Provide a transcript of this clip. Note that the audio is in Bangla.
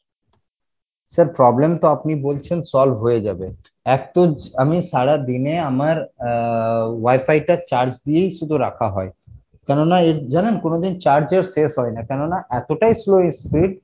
sir problem তো আপনি বলছেন solve হয়ে যাবে আমি সারাদিনে আমার আহ wifi টা charge দিয়েই শুধু রাখা হয় কেননা ঐ জানেন কোনদিন charge আর শেষ হয়না কেননা এতটাই slow speed